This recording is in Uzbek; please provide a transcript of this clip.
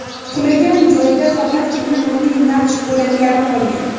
Qulagan joyda faqatgina milliy naqsh bo‘laklari qolgan.